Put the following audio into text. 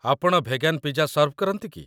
ଆପଣ vegan pizza serve କରନ୍ତି କି?